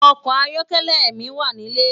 Òkò àyòkèlè mi wá nilé